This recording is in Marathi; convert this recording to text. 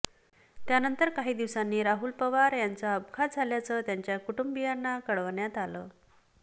त्यानंतर काही दिवसांनी राहुल पवार यांचा अपघात झाल्याचं त्यांच्या कुटुंबियांना कळवण्यात आलं